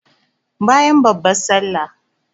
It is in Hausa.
Bayan babban sallah